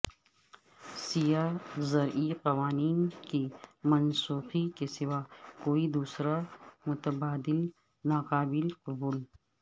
سیاہ زرعی قوانین کی منسوخی کے سوا کوئی دوسرا متبادل ناقابل قبول